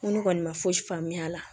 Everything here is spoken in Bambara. Ŋo ne kɔni ma fosi faamuya a la